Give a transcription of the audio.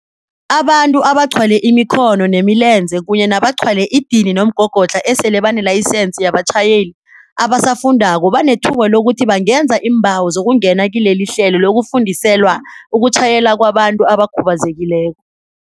Abantu abaqhwale imikhono nemilenze kunye nabaqhwale idini nomgogodlha esele banelayisense yabatjhayeli abasafundako banethuba lokuthi bangenza iimbawo zokungena kilelihlelo lokufundiselwa ukutjhayela kwabantu abakhubazekileko.